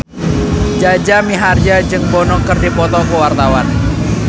Jaja Mihardja jeung Bono keur dipoto ku wartawan